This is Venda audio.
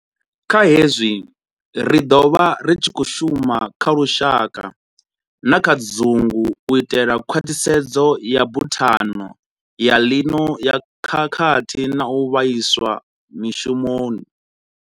Kha hezwi, ri ḓo vha ri tshi khou shuma kha lushaka na kha dzungu u itela khwaṱhisedzo ya Buthano ya ḽino ya Khakhathi na u Vhaiswa mishumoni.